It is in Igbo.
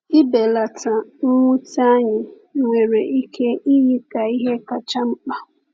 Ịbelata mwute anyị nwere ike iyi ka ihe kacha mkpa.